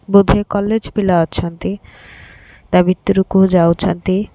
ବୋଧେ କଲେଜ ପିଲା ଅଛନ୍ତି ତା ଭିତରୂ କୁ ଯାଉଛନ୍ତି।